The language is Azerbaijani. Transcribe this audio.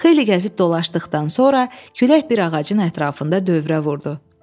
Xeyli gəzib dolaşdıqdan sonra külək bir ağacın ətrafında dövrə vurdu.